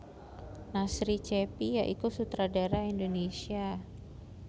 Nasri Cheppy ya iku sutradara Indonesia